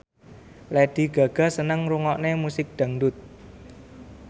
Lady Gaga seneng ngrungokne musik dangdut